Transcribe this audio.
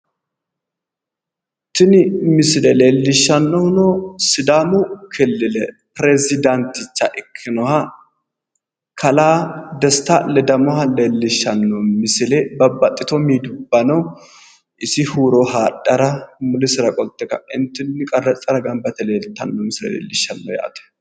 Tinni misille leelishanohuno sidaamu qoqowi peresidaanticha ikkinoha kalaa desta ledemoha leelishano misille babbaxiteo miidiyubbano isi huuro haadhara mulisira qolte kaentinni qaratsata gamba leeltano misille leelishano.